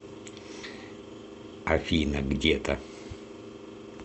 афина где то